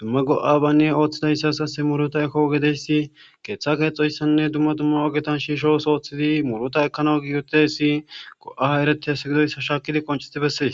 dumma go7a yabanne oththiya asatasi muurita immiya go7a keeththa keethoysanne dumma ogeta shiisho ooso oothoysa dumma go7a ekizaysi besees.